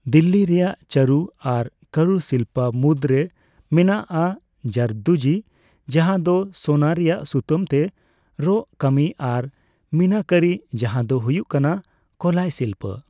ᱫᱤᱞᱞᱤ ᱨᱮᱭᱟᱜ ᱪᱟᱨᱩ ᱟᱨ ᱠᱟᱨᱩᱥᱤᱞᱯᱚ ᱢᱩᱫᱽᱨᱮ ᱢᱮᱱᱟᱜᱼᱟ ᱡᱟᱨᱫᱳᱡᱤ ᱡᱟᱦᱟ ᱫᱚ ᱥᱳᱱᱟ ᱨᱮᱭᱟᱜ ᱥᱩᱛᱟᱹᱢ ᱛᱮ ᱨᱚᱜ ᱠᱟᱹᱢᱤ ᱟᱨ ᱢᱤᱱᱟᱠᱟᱨᱤ, ᱡᱟᱦᱟ ᱫᱚ ᱦᱩᱭᱩᱜ ᱠᱟᱱᱟ ᱠᱚᱞᱟᱭ ᱥᱤᱞᱯᱚ ᱾